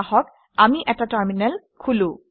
আহক আমি এটা টাৰমিনেল খোলো